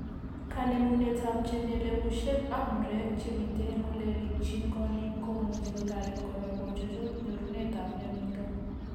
Kanemunetab chemelyegushek ak murek chemite eng' ole rikchin korik komuchi kotoret kora kochuchuch nyorunetab mionitok